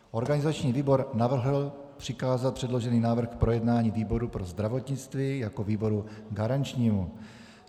Organizační výbor navrhl přikázat předložený návrh k projednání výboru pro zdravotnictví jako výboru garančnímu.